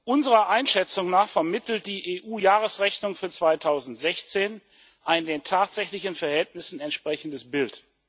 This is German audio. Unserer Einschätzung nach vermittelt die EU Jahresrechnung für 2016 ein den tatsächlichen Verhältnissen entsprechendes Bild.